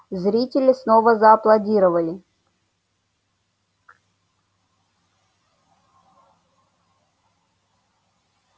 зрители снова зааплодировали